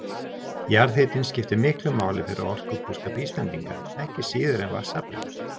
Jarðhitinn skiptir miklu máli fyrir orkubúskap Íslendinga ekki síður en vatnsaflið.